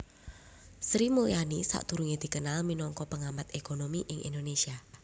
Sri Mulyani sadurungé dikenal minangka pengamat ékonomi ing Indonésia